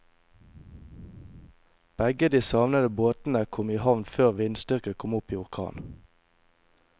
Begge de savnede båtene kom i havn før vindstyrken kom opp i orkan.